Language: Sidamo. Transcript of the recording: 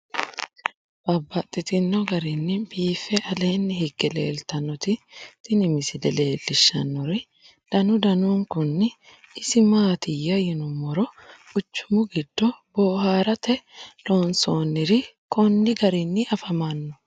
Babaxxittinno garinni biiffe aleenni hige leelittannotti tinni misile lelishshanori danu danunkunni isi maattiya yinummoro quchummu giddo booharatte loonsoonniri konni garinni affammanno